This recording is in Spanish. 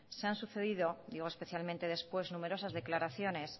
se han sucedido digo especialmente después numerosas declaraciones